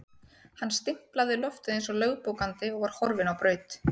Hann stimplaði loftið eins og lögbókandi og var horfinn á braut.